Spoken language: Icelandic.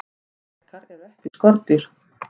drekar eru ekki skordýr